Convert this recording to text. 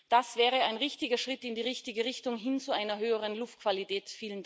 Das wäre ein richtiger Schritt in die richtige Richtung, hin zu einer höheren Luftqualität.